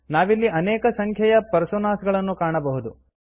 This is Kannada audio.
ನಾವಿಲ್ಲಿ ಅನೇಕ ಸಂಖ್ಯೆಯ ಪರ್ಸೋನಾಸ್ ಗಳನ್ನುಕಾಣಬಹುದು